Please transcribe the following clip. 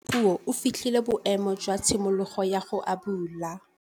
Ngwana wa Dipuo o fitlhile boêmô jwa tshimologô ya go abula.